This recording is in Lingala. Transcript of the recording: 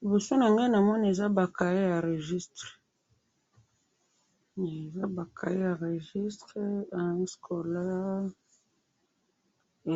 Liboso na nga na moni eza ba cahiers ya registres, année scolaire,